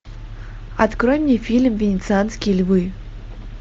открой мне фильм венецианские львы